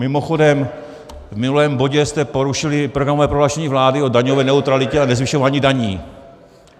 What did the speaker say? Mimochodem v minulém bodě jste porušili programové prohlášení vlády o daňové neutralitě a nezvyšování daní.